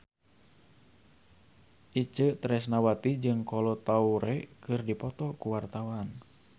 Itje Tresnawati jeung Kolo Taure keur dipoto ku wartawan